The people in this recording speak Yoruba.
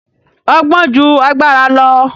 Ọgbọ́n ju agbára lọ